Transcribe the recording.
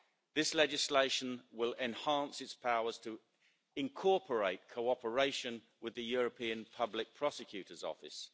This legislation will enhance its powers to incorporate cooperation with the European Public Prosecutor's Office.